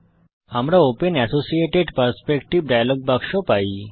আমরা open associated perspective dialog বাক্স পাই